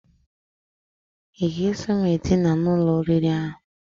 I ga-eso m edina n'ụlọ oriri ahụ?